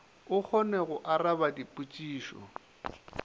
o kgone go araba dipotšišo